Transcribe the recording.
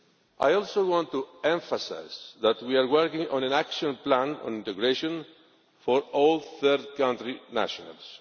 I also want to emphasise that we are working on an action plan on integration for all third country nationals.